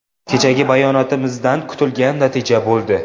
Kechagi bayonotimizdan kutilgan natija bo‘ldi.